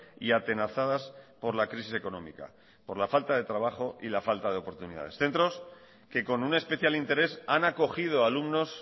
y atenazadas por la crisis económica por la falta de trabajo y la falta de oportunidades centros que con un especial interés han acogido alumnos